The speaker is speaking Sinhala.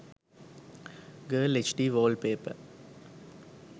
girl hd wallpaper